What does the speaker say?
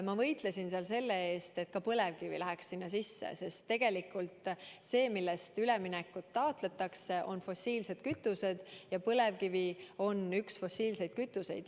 Ma võitlesin seal selle eest, et ka põlevkivi läheks sinna sisse, sest tegelikult see, mille jaoks üleminekut taotletakse, on fossiilsed kütused, ja põlevkivi on üks fossiilsetest kütustest.